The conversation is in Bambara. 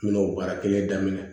N bɛna o baara kelen daminɛ